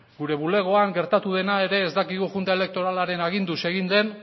gure bulegoan gertatu dena ere ez dakigu junta elektoralaren aginduz egin den